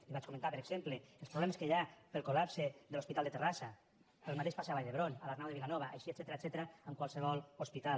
li vaig comentar per exemple els problemes que hi ha pel col·lapse de l’hospital de terrassa el mateix passa a vall d’hebron a l’arnau de vilanova així etcètera en qualsevol hospital